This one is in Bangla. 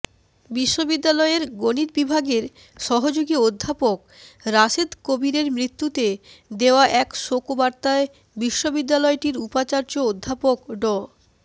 বিশ্ববিদ্যালয়ের গণিত বিভাগের সহযোগী অধ্যাপক রাশেদ কবিরের মৃত্যুতে দেওয়া এক শোকবার্তায় বিশ্ববিদ্যালয়টির উপাচার্য অধ্যাপক ড